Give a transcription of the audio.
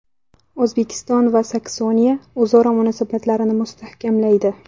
O‘zbekiston va Saksoniya o‘zaro munosabatlarni mustahkamlaydi.